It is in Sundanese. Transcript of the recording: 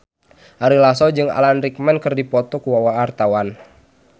Ari Lasso jeung Alan Rickman keur dipoto ku wartawan